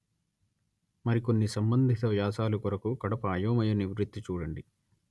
మరికొన్ని సంబంధిత వ్యాసాలు కొరకు కడప అయోమయ నివృత్తి చూడండి